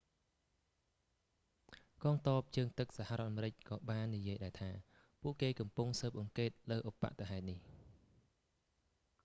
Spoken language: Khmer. កងទ័ពជើងទឹកសហរដ្ឋអាមេរិកក៏បាននិយាយដែរថា ពួកគេកំពុងស៊ើបអង្កេតលើឧប្បត្តិហេតុនេះ